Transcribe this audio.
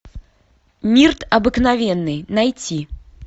мирт обыкновенный найти